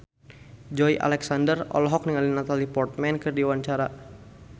Joey Alexander olohok ningali Natalie Portman keur diwawancara